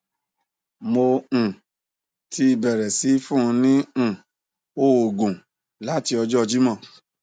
mo um ti bẹrẹ sii fun ni um oogun lati ọjọ jimọ